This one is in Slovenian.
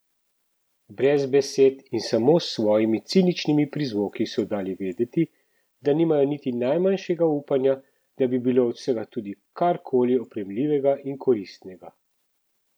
Brez besed in samo s svojimi ciničnimi prizvoki so dali vedeti, da nimajo niti najmanjšega upanja, da bi bilo od vsega tudi karkoli oprijemljivega in koristnega!